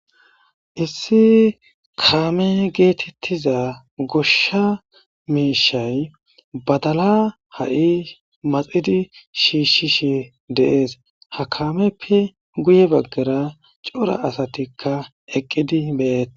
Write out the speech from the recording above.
Issi kaame getetiza gosha miishay badala ha'i maxid shiishishe de'es, ha kaameppe guye bagara cora asatika eqidi de'etes